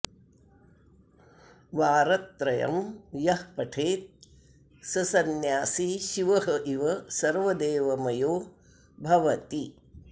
वारत्रयं यः पठेत् स सन्यासि शिव इव सर्वदेवमयो भवति